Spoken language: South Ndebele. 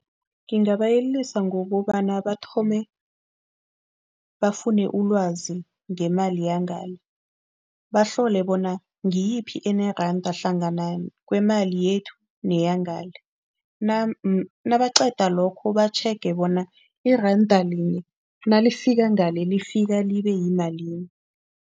Ngingabayelelisa ngokobana bathome bafune ulwazi ngemali yangale, bahlole bona ngiyiphi eneranda hlangana kwemali yethu neyangale. Nabaqeda lokho, batjhege bona iranda linye nalifika ngale lifike libe yimalini.